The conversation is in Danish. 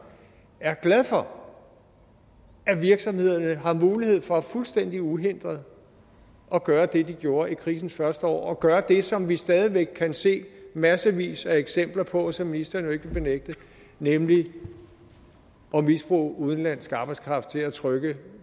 er glad for at virksomhederne har mulighed for fuldstændig uhindret at gøre det de gjorde i krisens første år og at gøre det som vi stadig væk kan se massevis af eksempler på som ministeren jo ikke vil benægte nemlig at misbruge udenlandsk arbejdskraft til at trykke